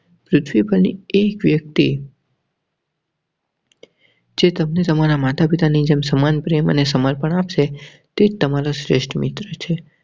પૃથ્વી પર ની એક વ્યક્તિ. જે તમને તમારા માતા પિતાની જેમ સમાન પ્રેમ અને સમર્પણ આવશે તે તમારા શ્રેષ્ઠ મિત્ર છે.